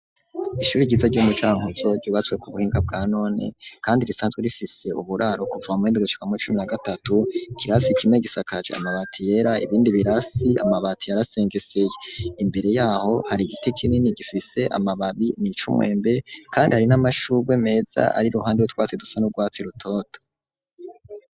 Ishuri ryiza ryo mu cankuzo ryubatswe ku buhinga bwa none kandi risanzwe rifise uburaro kuva muhende guciwamu i cumi na gatatu kirasi kime gisakaje amabati yera ibindi birasi amabati yarasengese imbere yaho hari igiti kinini gifise amababi nicumwembe kandi hari n'amashuwe meza ari ruhande we twatse dusa n'u rwatsi rutoto.